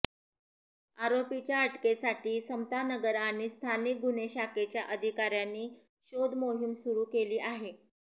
आरोपींच्या अटकेसाठी समतानगर आणि स्थानिक गुन्हे शाखेच्या अधिकार्यांनी शोधमोहीम सुरु केली आहे